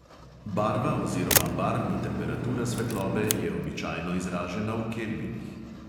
Barva oziroma barvna temperatura svetlobe je običajno izražena v kelvinih.